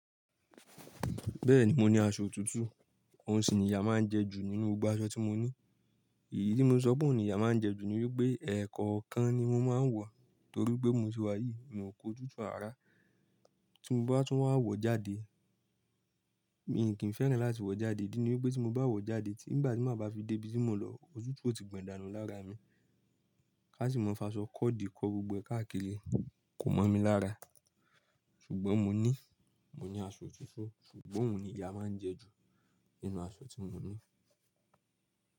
Bẹ́ẹ̀ni, mo ní aṣọ tuntun, òhun sì ni ìyà máa ń jẹ ju nínú gbogbo aṣọ tí mo ní. Ìdí tí mo ń sọ pé òhun ni ìyà máa ń jẹ ju ni wípé ẹ̀ẹ̀kọ̀ kan ni mo máa ń wọ, torí pé mo ti wàyíì, mi ò kú òtútù àrá. Tí mo bá tún máa wọ jáde, mì ní kì í fẹ́ràn láti wọ jáde, ìdí ni wípé tí mo bá wọ jáde, tí ìgbà tí màá bá fi dé ibi tí mo ń lọ, òtútù ò ti gbọ̀n dánù lára mi. Ká sì máa ń fi aṣọ kóòdí kọ́ gbogbo ẹ̀ káàkiri, kò mọ̀ mi lára. Ṣùgbọ́n mo ní, mo ní aṣọ tuntun, ṣùgbọ́n òun ni ìyá máa ń jẹ ju nínú aṣọ tí mo ní.